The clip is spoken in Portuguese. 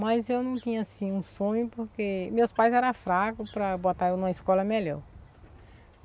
Mas eu não tinha assim um sonho, porque meus pais eram fracos para botar eu numa escola melhor.